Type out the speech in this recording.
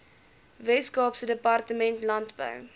weskaapse departement landbou